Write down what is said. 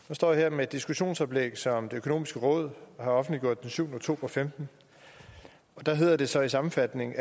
nu står jeg her med et diskussionsoplæg som det økonomiske råd har offentliggjort den syvende oktober og femten og der hedder det så i sammenfatningen